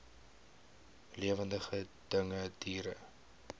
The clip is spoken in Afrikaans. lewende dinge diere